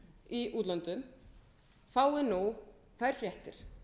í útlöndum fái nú þær fréttir